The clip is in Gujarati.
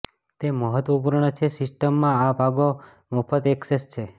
તે મહત્વપૂર્ણ છે સિસ્ટમમાં આ ભાગો મફત ઍક્સેસ છે